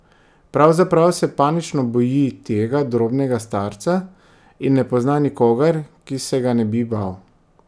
Pravzaprav se panično boji tega drobnega starca in ne pozna nikogar, ki se ga ne bi bal.